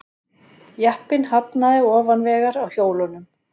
Jeppinn hafnaði ofan vegar á hjólunum